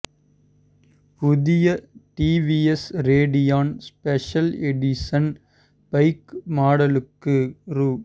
புதிய TVS Radeon special edition bike மாடலுக்ககு ரூ